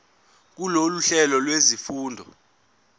kulolu hlelo lwezifundo